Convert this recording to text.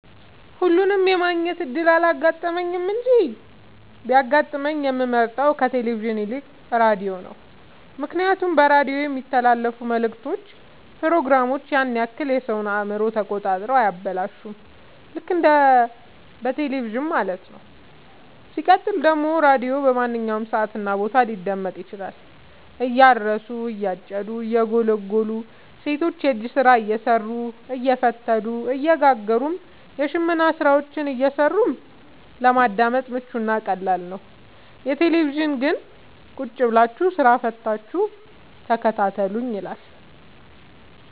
ሁለቱንም የማግኘት እድል አላጋጠመኝም እንጂ ቢያጋጥመኝ የምመርጠው ከቴሌቪዥን ይልቅ ራዲዮን ነው ምክንያቱም በራዲዮ የሚተላለፍት መልክቶች ፕሮግራሞች ያን ያክል የሰወን አእምሮ ተቆጣጥረው አያበላሹም ልክ እንደ በቴለቪዥን ማለት ነው። ሲቀጥል ደግሞ ራዲዮ በማንኛውም ሰዓት እና ቦታ ሊደመጥ ይችላል። እያረሱ የጨዱ እየጎሉ ሰቶች የእጅ ስራ እየሰሩ አየፈተሉ እየጋገሩም የሽመና ስራዎችን እየሰሩ ለማዳመጥ ምቹ እና ቀላል ነው። የቴሌቪዥን ግን ቁጭብላችሁ ስራ ፈታችሁ ተከታተሉኝ ይላል።